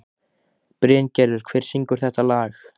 Bryngerður, hver syngur þetta lag?